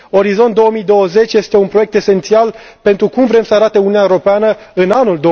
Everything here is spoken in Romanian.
Orizont 2020 este un proiect esențial pentru cum vrem să arate Uniunea Europeană în anul